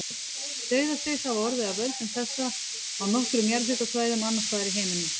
Dauðaslys hafa orðið af völdum þessa á nokkrum jarðhitasvæðum annars staðar í heiminum.